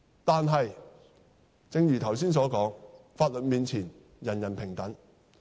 但是，正如剛才所說，法律面前，人人平等。